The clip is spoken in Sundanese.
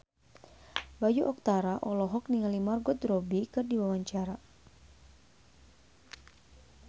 Bayu Octara olohok ningali Margot Robbie keur diwawancara